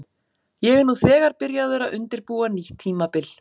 Ég er nú þegar byrjaður að undirbúa nýtt tímabil.